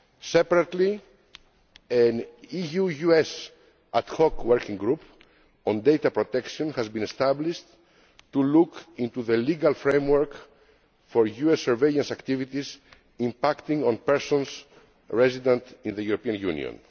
Separately, an EU US ad hoc working group on data protection has been established to look into the legal framework for US surveillance activities impacting on persons resident in the European Union.